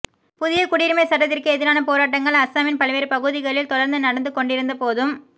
புதிய குடியுரிமைச் சட்டத்திற்கு எதிரான போராட்டங்கள் அஸாமின் பல்வேறு பகுதிகளில் தொடர்ந்து நடந்து கொண்டிருந்த போதும்